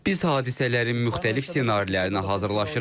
Biz hadisələrin müxtəlif ssenarilərinə hazırlaşırıq.